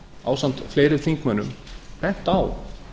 ásamt fleiri þingmönnum bent á